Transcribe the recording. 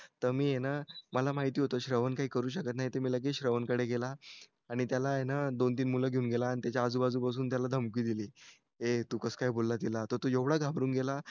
मी आहे ना श्रवण काही करू शकत नाही तर मी लगेच श्रवणकडे गेला आणि त्याला हे ना दोन-तीन मुलं घेऊन गेला आणि आजूबाजू पासून त्याला धमकी दिली ये तू कस काय बोलला तिला आणि तो एवढा घाबरून गेला